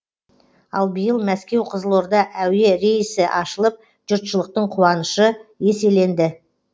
ал биыл мәскеу қызылорда әуе рейсі ашылып жұртшылықтың қуанышы еселенді